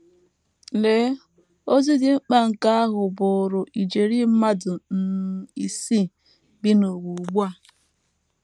Lee ozi dị mkpa nke ahụ bụụrụ ijeri mmadụ um isii bi n’ụwa ugbu a!